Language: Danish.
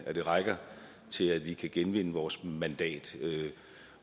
at det rækker til at vi kan genvinde vores mandat